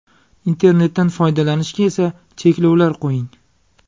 Internetdan foydalanishga esa cheklovlar qo‘ying.